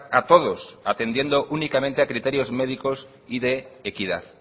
a todos atendiendo únicamente a criterios médicos y de equidad